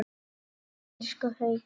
Elsku Haukur!